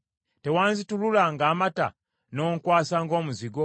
Tewanzitulula ng’amata n’onkwasa ng’omuzigo?”